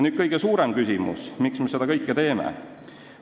Nüüd kõige suurem küsimus: miks me seda kõike teeme?